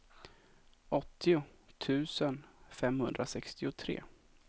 åttio tusen femhundrasextiotre